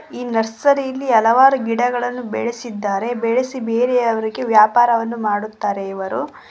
ಈ ನರ್ಸರಿ ಇಲ್ಲಿ ಹಲವಾರು ಗಿಡಗಳನ್ನು ಬೆಳೆಸಿದ್ದಾರೆ ಬೆಳೆಸಿ ಬೇರೆಯವರಿಗೆ ವ್ಯಾಪಾರವನ್ನು ಮಾಡುತ್ತಾರೆ ಇವರು.